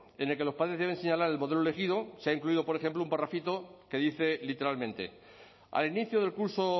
en el que los padres deben señalar el modelo elegido se ha incluido por ejemplo un parrafito que dice literalmente al inicio del curso